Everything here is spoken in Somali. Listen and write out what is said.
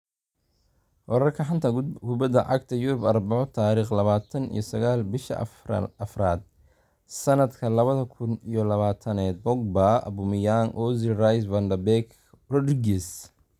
Wararka xanta kubada cagta Yurub Arbaco tariq labatan iyo sagal bisha afrad sanadka labada kun iyo labatanad Pogba, Aubameyang, Ozil, Rice, Van de Beek, Rodriguez